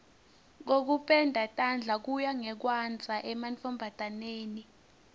kokupenda tandla kuya ngekwandza emantfombataneni